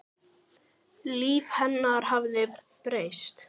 Líf hennar hafði breyst.